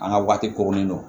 An ka waati koronnen don